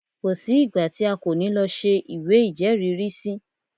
Kò sí ìgbà tí a kò ní lọ ṣe ìwé ìjẹ́rìrísí.